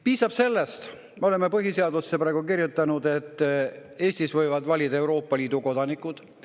Me oleme praegu põhiseadusesse kirjutanud, et Eestis võivad valida Euroopa Liidu kodanikud.